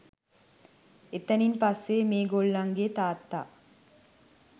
එතනින් පස්සේ මේ ගොල්ලන්ගේ තාත්තා